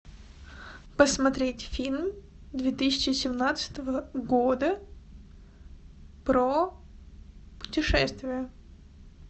посмотреть фильм две тысячи семнадцатого года про путешествия